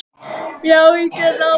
Já, ég geri ráð fyrir því.